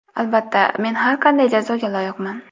Albatta, men har qanday jazoga loyiqman.